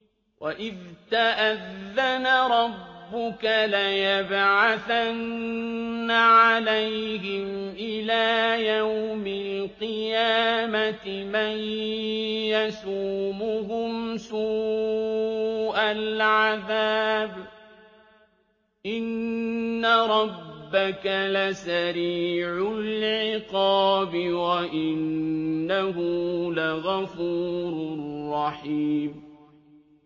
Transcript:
وَإِذْ تَأَذَّنَ رَبُّكَ لَيَبْعَثَنَّ عَلَيْهِمْ إِلَىٰ يَوْمِ الْقِيَامَةِ مَن يَسُومُهُمْ سُوءَ الْعَذَابِ ۗ إِنَّ رَبَّكَ لَسَرِيعُ الْعِقَابِ ۖ وَإِنَّهُ لَغَفُورٌ رَّحِيمٌ